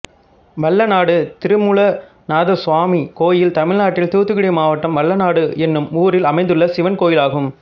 வல்லநாடு திருமூலநாதசுவாமி கோயில் தமிழ்நாட்டில் தூத்துக்குடி மாவட்டம் வல்லநாடு என்னும் ஊரில் அமைந்துள்ள சிவன் கோயிலாகும்